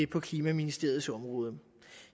på klimaministeriets område